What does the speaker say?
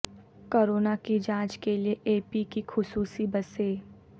corona کی جانچ کے لیے اے پی کی خصوصی بسیں